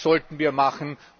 Das sollten wir machen.